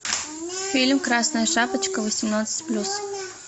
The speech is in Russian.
фильм красная шапочка восемнадцать плюс